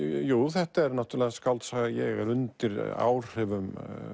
þetta er skáldsaga ég er undir áhrifum